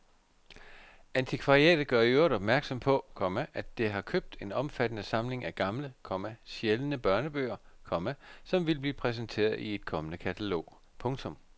Antikvariatet gør i øvrigt opmærksom på, komma at det har købt en omfattende samling af gamle, komma sjældne børnebøger, komma som vil blive præsenteret i et kommende katalog. punktum